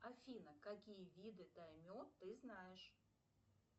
афина какие виды дайме ты знаешь